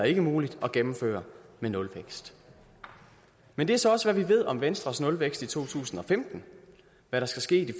ikke muligt at gennemføre med nulvækst men det er så også hvad vi ved om venstres nulvækst i to tusind og femten hvad der skal ske i de